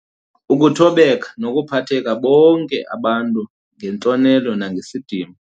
Ukuthobeka, nokuphatha BONKE abantu ngentlonelo nangesidima.